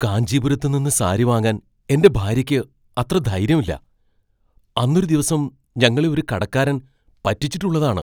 കാഞ്ചീപുരത്ത് നിന്ന് സാരി വാങ്ങാൻ എൻ്റെ ഭാര്യക്ക് അത്ര ധൈര്യം ഇല്ല. അന്നൊരു ദിവസം ഞങ്ങളെ ഒരു കടക്കാരൻ പറ്റിച്ചിട്ടുള്ളതാണ്.